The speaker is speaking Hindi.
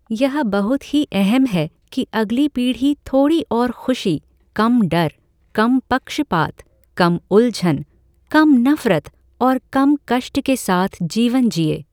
यह बहुत ही अहम है कि अगली पीढ़ी थोड़ी और खुशी, कम डर, कम पक्षपात, कम उलझन, कम नफरत और कम कष्ट के साथ जीवन जिए।